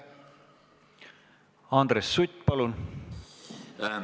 Andres Sutt, palun!